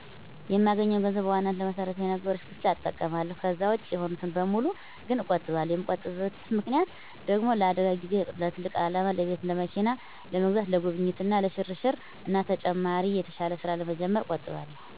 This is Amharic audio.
የማገኘውን ገንዘብ በዋናነት ለመሰረታዊ ነገሮች ብቻ እጠቀማለሁ። ከዛ ውጭ የሆኑትን በሙሉ ግን እቆጥባለሁ። የምቆጥብበት ምክንያት ደግሞ ለአደጋ ጊዜ፣ ለትልቅ አላማ ለቤት፣ ለመኪና ለመግዛት፣ ለጉብኝት እና ለሽርሽር እና ተጨማሪ የተሻለ ስራ ለመጀመር እቆጥባለሁ።